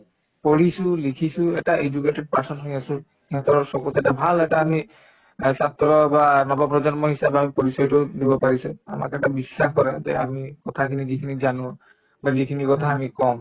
পঢ়িছো লিখিছো এটা educated person হৈ আছো চকুত এটা ভাল এটা আমি অ ছাত্ৰ বা নৱপ্ৰজন্ম হিচাপে আমি পৰিচয়টো দিব পাৰিছে আমাক এটা বিশ্বাস কৰে যে আমি কথাখিনি যিখিনি জানো বা যিখিনি কথা আমি কম